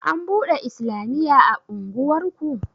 An buɗe islamiya a unguwarku?